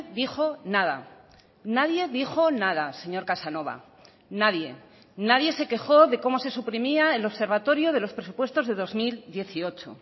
dijo nada nadie dijo nada señor casanova nadie nadie se quejó de cómo se suprimía el observatorio de los presupuestos de dos mil dieciocho